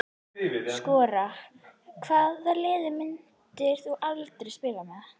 Skora Hvaða liði myndir þú aldrei spila með?